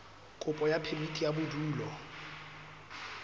kopo ya phemiti ya bodulo